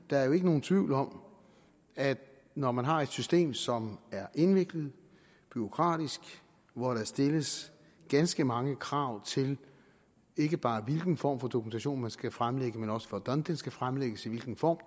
der er jo ikke nogen tvivl om at når man har et system som er indviklet og bureaukratisk og hvor der stilles ganske mange krav til ikke bare hvilken form for dokumentation man skal fremlægge men også for hvordan den skal fremlægges i hvilken form